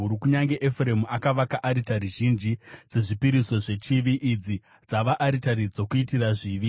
“Kunyange Efuremu akavaka aritari zhinji dzezvipiriso zvechivi, idzi dzava aritari dzokuitira zvivi.